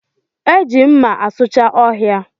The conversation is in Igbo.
E ji mma asucha ọhịa